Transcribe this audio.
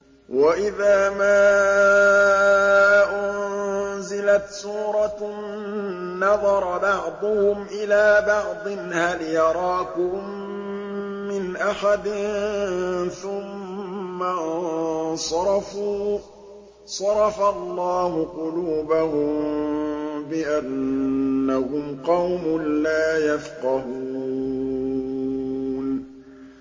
وَإِذَا مَا أُنزِلَتْ سُورَةٌ نَّظَرَ بَعْضُهُمْ إِلَىٰ بَعْضٍ هَلْ يَرَاكُم مِّنْ أَحَدٍ ثُمَّ انصَرَفُوا ۚ صَرَفَ اللَّهُ قُلُوبَهُم بِأَنَّهُمْ قَوْمٌ لَّا يَفْقَهُونَ